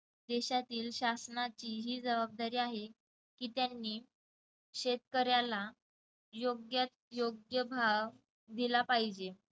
देशातील शासनाची ही जबाबदारी आहे की त्यांनी शेतकऱ्याला योग्यात योग्य भाव दिला पाहिजे.